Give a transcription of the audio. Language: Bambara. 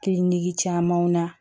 Kiliniki camanw na